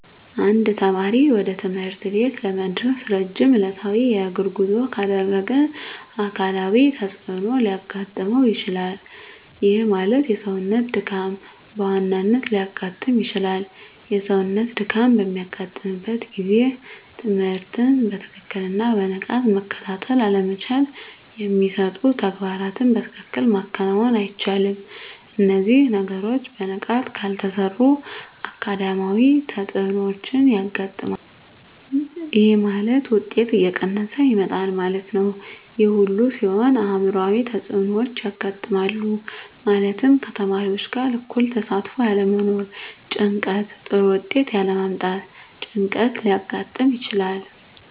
አንድ ተማሪ ወደ ትምህርት ቤት ለመድረስ ረጅም ዕለታዊ የእግር ጉዞ ካደረገ አካላዊ ተፅዕኖ ሊያጋጥመው ይችላል። ይህ ማለት የሰውነት ድካም በዋናነት ሊያጋጥም ይችላል። የሰውነት ድካም በሚያጋጥምበት ጊዜ ትምህርትን በትክክልና በንቃት መከታተል አለመቻል የሚሰጡ ተግባራትን በትክክል ማከናወን አይቻልም። እነዚህ ነገሮች በንቃት ካልተሰሩ አካዳሚያዊ ተፅዕኖዎች ያጋጥማል። ይህ ማለት ውጤት እየቀነሰ ይመጣል ማለት ነው። ይህ ሁሉ ሲሆን አዕምሯዊ ተፅዕኖዎች ያጋጥማሉ። ማለትም ከተማሪዎች ጋር እኩል ተሳትፎ ያለመኖር ጭንቀት ጥሩ ውጤት ያለ ማምጣት ጭንቀት ሊያጋጥም ይችላል።